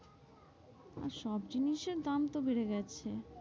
আর সব জিনিসের দাম তো বেড়ে গেছে,